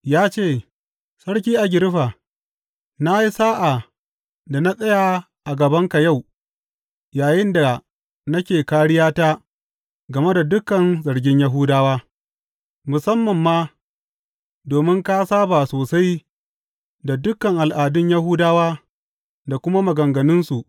Ya ce, Sarki Agiriffa, na yi sa’a da na tsaya a gabanka yau yayinda nake kāriyata game da dukan zargin Yahudawa, musamman ma domin ka saba sosai da dukan al’adun Yahudawa da kuma maganganunsu.